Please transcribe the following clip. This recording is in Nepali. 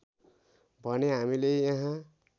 भने हामीले यहाँ